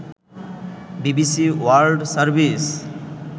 BBC World service